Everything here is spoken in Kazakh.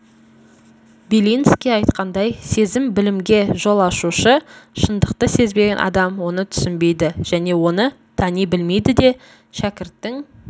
белинский айтқандай сезім-білімге жол ашушы шындықты сезбеген адам оны түсінбейді және оны тани білмейді де шәкірттің